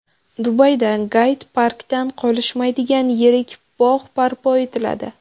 Dubayda Gayd-parkdan qolishmaydigan yirik bog‘ barpo etiladi.